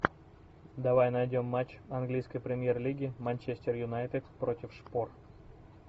давай найдем матч английской премьер лиги манчестер юнайтед против шпор